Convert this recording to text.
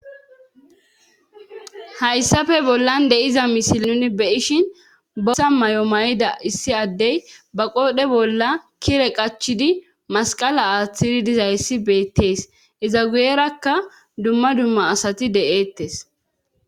hayssafe bollan de'iza misili nuni beishin bosa mayo mayida issi addey ba qoodhe bolla kire qachidi masqala aaththiri dizayssi beettees iza guyerakka dumma dumma asati de'eettes